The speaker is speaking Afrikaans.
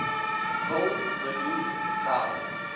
wil benoem wel